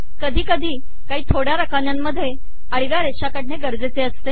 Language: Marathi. कधी कधी काही थोड्या रकान्यांमध्येच आडव्या रेषा काढणे गरजेचे असते